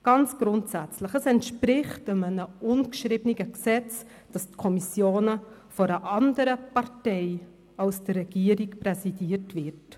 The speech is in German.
Ganz grundsächlich: Es entspricht einem ungeschriebenen Gesetz, dass die Kommissionen von einer anderen Partei präsidiert wird als der entsprechende Bereich von der die Regierung.